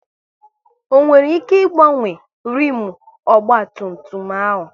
Ọ nwere ike ị gbanwe rimu ọgba tum tum ahụ?